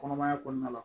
Kɔnɔmaya kɔnɔna la